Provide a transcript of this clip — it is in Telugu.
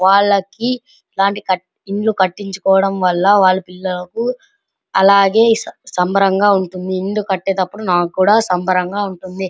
వాళ్ళకి ఇలాంటి ఇల్లు కట్టిచుకోవటం వాళ్ళ పిల్లలకు సంబరంగా ఉంటుంది అలాగే ఇల్లు కట్టేటప్పుడు నాకు కూడా సంబరంగా ఉంటుంది .